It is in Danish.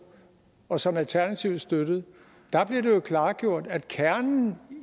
og som alternativet støttede og klargjort at kernen